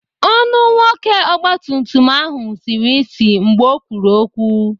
Ọnụ nwoke ọgbatumtum ahụ siri ịsị mgbe ọ kwuru okwu.